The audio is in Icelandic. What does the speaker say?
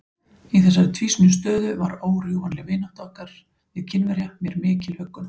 Í þessari tvísýnu stöðu var órjúfanleg vinátta okkar við Kínverja mér mikil huggun.